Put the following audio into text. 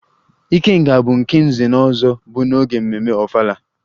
ikenga' bụ nke nze-na-ozo bu n'oge mmemme ofala